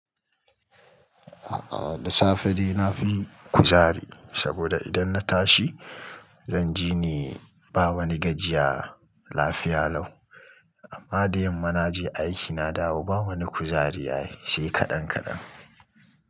A'a, da safe dai na fi kuzari saboda idan na tashi zan ji ni ba wani gajiya, lafiya lau. Amma da yamma naje aiki na dawo ba wani kuzari ai yi sai kaɗan kaɗan.